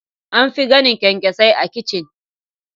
An fi ganin kyankyasai a kicin.